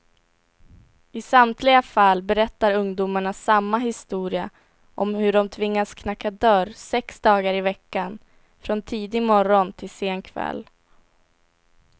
I samtliga fall berättar ungdomarna samma historia om hur de tvingats knacka dörr sex dagar i veckan, från tidig morgon till sen kväll.